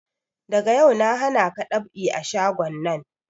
Daga yau na hanaka dab'i a shagon nan!